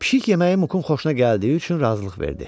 Pişik yeməyi Mukun xoşuna gəldiyi üçün razılıq verdi.